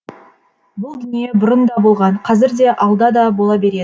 бұл дүние бұрын да болған қазір де алда да бола береді